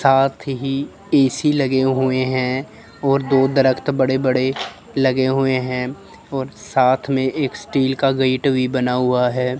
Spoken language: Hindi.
साथ ही ए_सी लगे हुए हैं और दो दरख़्त बड़े बड़े लगे हुए हैं और साथ में एक स्टील का गेट भी बना हुआ है।